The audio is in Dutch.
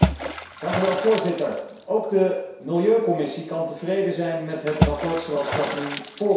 Voorzitter, ook de milieucommissie kan tevreden zijn met het verslag zoals dat nu voor ons ligt.